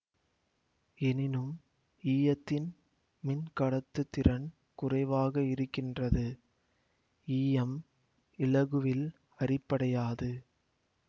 எனினும் ஈயத்தின் மின்கடத்துதிறன் குறைவாக இருக்கின்றது ஈயம் இலகுவில் அரிப்படையாது